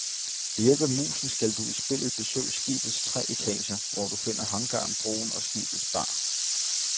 Ved hjælp af musen skal du i spillet besøge skibets tre etager, hvor du finder hangaren, broen og skibets bar.